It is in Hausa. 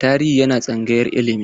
Tarihi yana tsangayar ilimi.